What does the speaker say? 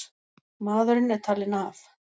Maðurinn er talinn af.